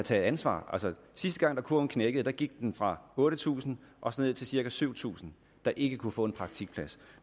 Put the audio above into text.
tage ansvar sidste gang kurven knækkede gik den fra otte tusind og ned til cirka syv tusind der ikke kunne få en praktikplads